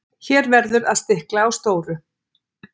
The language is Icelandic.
hér verður að stikla á stóru